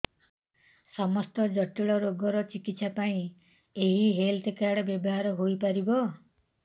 ସମସ୍ତ ଜଟିଳ ରୋଗର ଚିକିତ୍ସା ପାଇଁ ଏହି ହେଲ୍ଥ କାର୍ଡ ବ୍ୟବହାର ହୋଇପାରିବ